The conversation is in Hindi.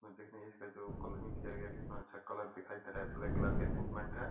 मंदिर में इसका जो कलरिंग किया गया है कितना अच्छा कलर दिखाई दे रहा है ब्लैक कलर का एक इक्विपमेंट है।